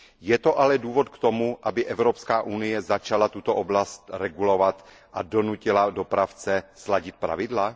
Je to ale důvod k tomu, aby Evropská unie začala tuto oblast regulovat a donutila dopravce sladit pravidla?